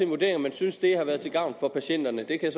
vurdering om man synes det har været til gavn for patienterne det kan